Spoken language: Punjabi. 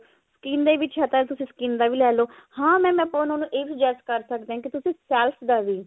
skin ਦੇ ਵਿੱਚ ਹੈ ਤਾਂ ਤੁਸੀਂ skin ਦਾ ਲੈਲੋ ਹਾਂ mam ਆਪਾਂ ਉਹਨਾਂ ਨੂੰ ਇਹ suggest ਕਰ ਸਕਦੇ ਹਾਂ ਕੀ ਤੁਸੀਂ ਦਾ ਵੀ